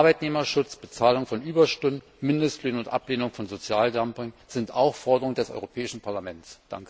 Arbeitnehmerschutz, Bezahlung von Überstunden, Mindestlöhne und Ablehnung von Sozialdumping sind auch Forderungen des Europäischen Parlaments.